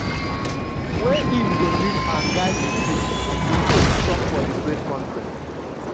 wey im um go lead and guide di team” di coach um tok for di press conference. um